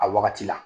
A wagati la